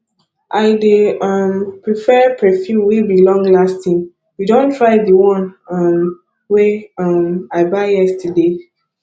i dey um prefer perfume wey be longlasting you don try di one um wey um i buy yesterday